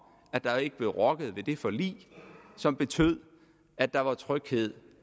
at der ikke ville blive rokket ved det forlig som betød at der var tryghed